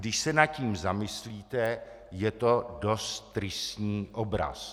Když se nad tím zamyslíte, je to dost tristní obraz.